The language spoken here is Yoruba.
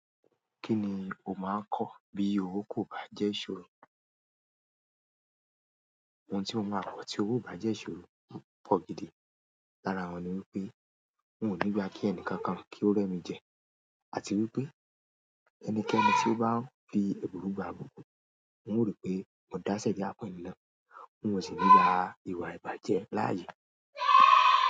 Kí ni o máa kọ̀ bí owó kò bá jẹ́ ìṣòro? Ohun tí mo máa kọ̀ tí owó bá jẹ́ ìṣòro pọ̀ gidi. Lára wọ́n ni wípé n ò ní gba kí enìkankan kí ó rẹ́mi jẹ, àti wípé ẹnikẹ́ni tó bá n fi èbùrú gba ìbùkún n ó ri pé mo dá sẹ̀ríyà fún ẹni náà. N ò sì ní gbà ìwà ìbàjẹ́ láàyè.